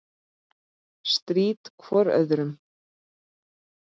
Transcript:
Strítt hvor öðrum.